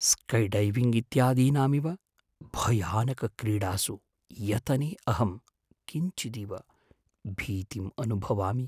Skydiving इत्यादीनामिव भयानकक्रीडासु यतने अहं किञ्चिदिव भीतिम् अनुभवामि।